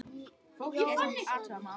Fólkið fór að athuga málið.